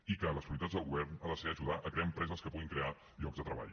i que les prioritats del govern han de ser ajudar a crear empreses que puguin crear llocs de treball